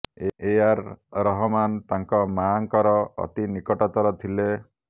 ଏ ଆର୍ ରହମାନ ତାଙ୍କ ମାଙ୍କର ଅତି ନିକଟତର ଥିଲେ